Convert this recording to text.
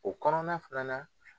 O kɔnɔna fana na